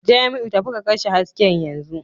Jamiu, tafi ka kashe hasken yanzu